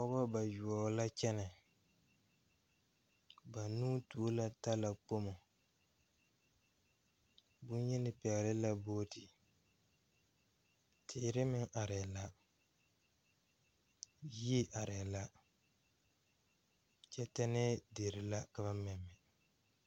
Pɔgeba bayoɔbo la kyɛnɛ banuu tuo la talakpoŋ bonyeni pɛgele la booti teere meŋ arɛɛ la yie arɛɛ la kyɛ tɛnnɛɛ dere la ka ba mɛmɛ.